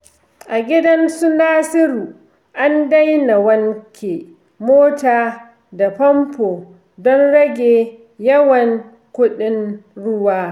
A gidan su Nasiru, an daina wanke mota da famfo don rage yawan kuɗin ruwa.